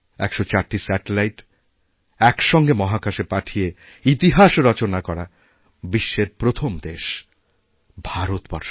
১০৪টি satellite একসঙ্গে মাহাকাশে পাঠিয়ে ইতিহাস রচনা করাবিশ্বের প্রথম দেশ ভারতবর্ষ